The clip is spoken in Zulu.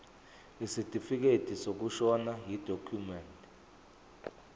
isitifikedi sokushona yidokhumende